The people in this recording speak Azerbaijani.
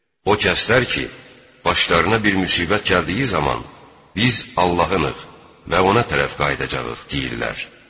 O kəslər ki, başlarına bir müsibət gəldiyi zaman, biz Allahdanıq və ona tərəf qayıdacağıq deyirlər.